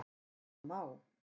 Og það má.